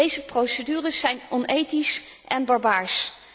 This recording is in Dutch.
Deze procedures zijn onethisch en barbaars.